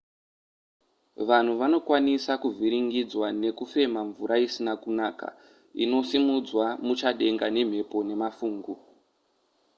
vanhu vanokwanisa kuvhiringidzwa nekufema mvura isina kunaka inosimudzwa muchadenga nemhepo nemafungu